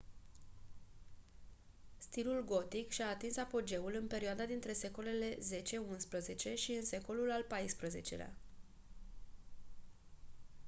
stilul gotic și-a atins apogeul în perioada dintre secolele x xi și în secolul al xiv-lea